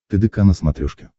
тдк на смотрешке